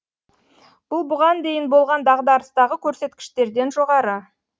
бұл бұған дейін болған дағдарыстағы көрсеткіштерден жоғары